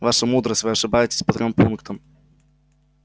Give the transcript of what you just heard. ваша мудрость вы ошибаетесь по трём пунктам